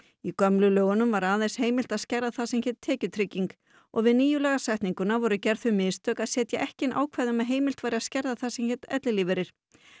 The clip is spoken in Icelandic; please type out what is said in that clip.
í gömlu lögunum var aðeins heimilt að skerða það sem hét tekjutrygging og við nýju lagasetninguna voru gerð þau mistök að setja ekki inn ákvæði um að heimilt væri að skerða það sem héti ellilífeyrir